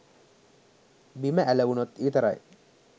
බිම ඇලවුනොත් විතරයි